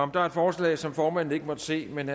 der er et forslag som formanden ikke måtte se men